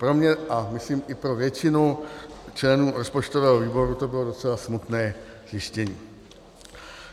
Pro mě a myslím i pro většinu členů rozpočtového výboru to bylo docela smutné zjištění.